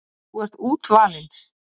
Þú ert útvalinn.